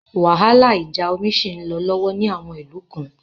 Wàhálà ìjà omi ṣì ń lọ lọ́wọ́ ní àwọn ìlú kan.